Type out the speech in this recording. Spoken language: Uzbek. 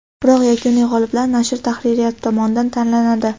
Biroq yakuniy g‘olib nashr tahririyati tomonidan tanlanadi.